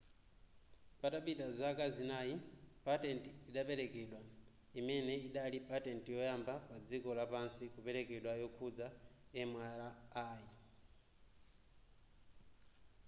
patapita zaka zinayi patent idaperekedwa imene idali patent yoyamba padziko lapansi kupekedwa yokhudza mri